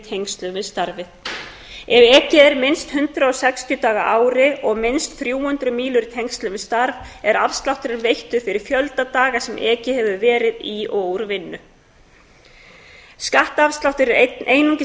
tengslum við starfið ef ekið er minnst hundrað og sextíu daga á ári og minnst þrjú hundruð mílur í tengslum við starf er afslátturinn veittur fyrir fjölda daga sem ekið hefur verið í og úr vinnu skattafsláttur er einungis